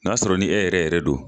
N y'a sɔrɔ ni e yɛrɛ yɛrɛ don